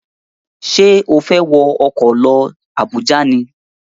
Ṣé o fẹ́ wọ ọkọ̀ lọ Àbújá ni?